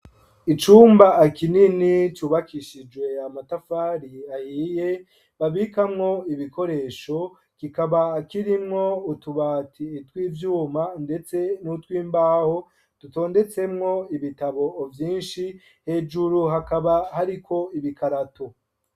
Icumba kinini cubakishijwe amatafari ahiye ,babikamwo ibikoresho kikaba kirimwo utubati tw'ivyuma ndetse n'utwimbaho dutondetsemwo ibitabo vyinshi hejuru hakaba hariko ibikarato.